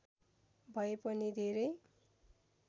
भए पनि धेरै